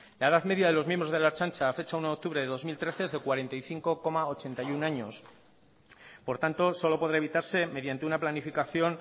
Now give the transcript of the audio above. la edad media de los miembros de la ertzaintza a fecha uno de octubre de dos mil trece es de cuarenta y cinco coma ochenta y uno años por tanto solo podrá evitarse mediante una planificación